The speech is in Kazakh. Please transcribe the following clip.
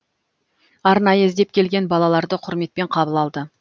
арнайы іздеп келген балаларды құрметпен қабыл алды